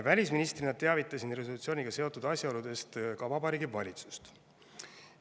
Välisministrina teavitasin resolutsiooniga seotud asjaoludest ka Vabariigi Valitsust.